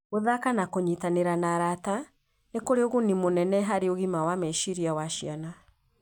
Gũthaka na kũnyitanĩra na arata nĩ kũrĩ ũguni mũnene harĩ ũgima wa meciria wa ciana.